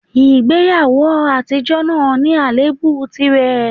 Ìgbéyàwó àtijọ́ náà ní àléébù tìrẹ